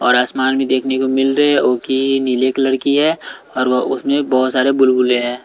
और आसमान में देखने को मिल रहे है वो की नीले कलर की है और उसमें बहुत सारे बुलबुले हैं।